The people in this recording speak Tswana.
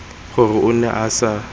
gore o ne a sa